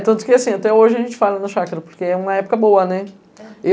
É, tanto que assim, até hoje a gente fala no chakra, porque é uma época boa, né?